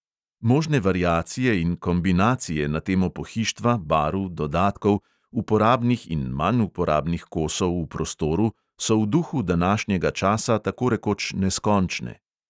Možne variacije in kombinacije na temo pohištva, barv, dodatkov, uporabnih in manj uporabnih kosov v prostoru so v duhu današnjega časa tako rekoč neskončne.